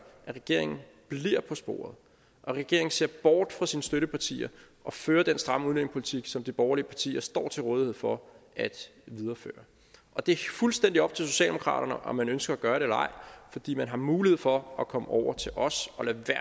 at regeringen bliver på sporet og at regeringen ser bort fra sine støttepartier og fører den stramme udlændingepolitik som de borgerlige partier står til rådighed for at videreføre og det er fuldstændig op til socialdemokraterne om man ønsker at gøre det eller ej fordi man har mulighed for at komme over til os